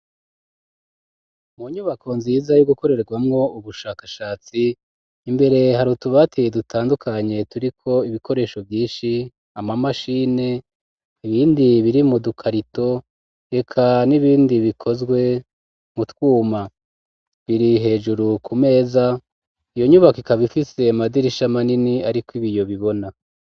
Mu nyubako nziza yo gukorerwamwo ubushakashatsi imbere hari utubati dutandukanye turiko ibikoresho vyinshi ama mashine ibindi biri mu dukarato reka n'ibindi bikozwe mu twuma, biri hejuru ku meza iyo nyubaka ikaba ifise amanini ariko ibiyo bibona.